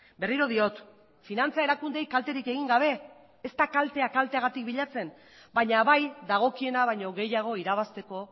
berriro diot finantza erakundeei kalterik egin gabe ez da kaltea kalteagatik bilatzen baina bai dagokiena baina gehiago irabazteko